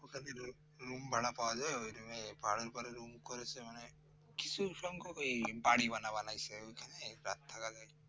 Room ভাড়া পাওয়া যায় ওই room করেছে মানে প্রচুর সংখ্যক বাড়ি গোলা বানাইছে রাত থাকার জন্য